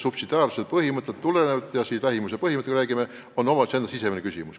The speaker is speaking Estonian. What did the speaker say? Subsidiaarsuse põhimõttest tulenevalt – see on siis lähimuspõhimõte, eks ole – on see omavalitsuse sisemine küsimus.